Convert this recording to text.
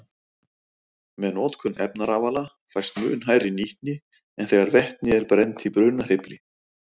Með notkun efnarafala fæst mun hærri nýtni en þegar vetni er brennt í brunahreyfli.